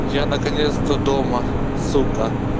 я наконец-то дома сука